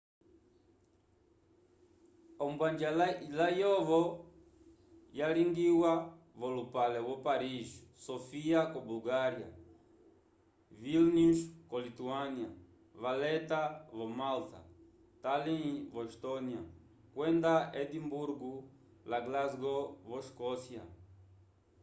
ombwanja layovo yalingiwa v'olupale wo paris sofia ko bulgária vilnius ko lituânia valetta vo malta tallinn vo estónia kwenda edimburgo la glasgow vo escócia